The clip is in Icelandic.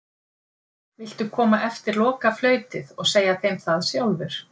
Viltu koma eftir lokaflautið og segja þeim það sjálfur?